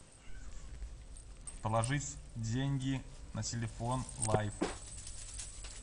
положить деньги на телефон лайф